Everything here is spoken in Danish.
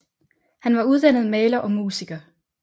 Han var uddannet maler og musiker